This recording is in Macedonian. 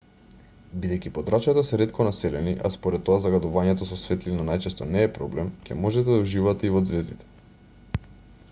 бидејќи подрачјата се ретко населени а според тоа загадувањето со светлина најчесто не е проблем ќе можете да уживате и во ѕвездите